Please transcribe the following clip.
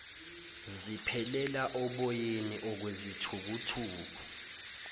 ziphelela oboyeni okwezithukuthuku